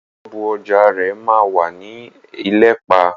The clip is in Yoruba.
Ṣọ́ọ̀bú ọjà rẹ̀ ma wà ní Elẹ́pẹ̀.